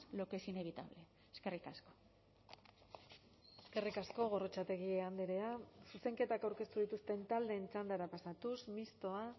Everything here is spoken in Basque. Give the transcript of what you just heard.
lo que es inevitable eskerrik asko eskerrik asko gorrotxategi andrea zuzenketak aurkeztu dituzten taldeen txandara pasatuz mistoa